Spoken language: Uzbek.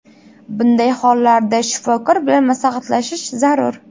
Bunday hollarda shifokor bilan maslahatlashish zarur.